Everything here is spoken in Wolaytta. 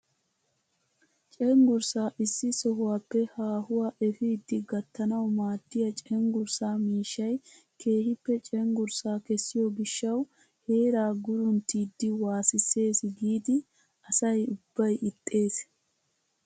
Cenggurssaa issi sohuwaappe haahuwa epiidi gattanawu maaddiyaa cengurssaa miishshay keehippe cengurssa kessiyoo gishshawu heeraa gurunttiidi waasisses giidi asa ubbay ixxees!